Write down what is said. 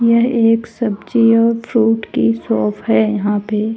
यह एक सब्जी और फ्रूट की शॉप है यहां पे--